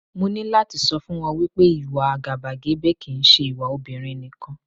Mo ní láti sọ fún ọ wípé, ìwà àgàbàgebè kì ń ṣe ìwà obìnrin nìkan.